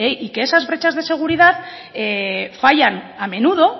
y que esas brechas de seguridad fallan a menudo